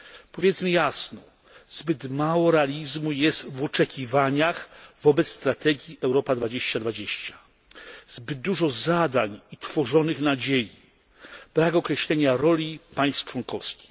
Powiedzmy jasno zbyt mało realizmu jest w oczekiwaniach wobec strategii Europa 2020, zbyt dużo zadań i tworzonych nadziei, brak określenia roli państw członkowskich.